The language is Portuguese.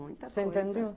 Você entendeu?